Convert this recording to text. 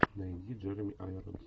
найди джереми айронс